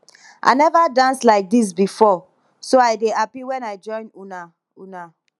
i never dance like dis before so i dey happy wen i join una una